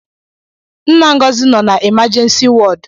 Nna Ngọzi nọ n’imajensi wọd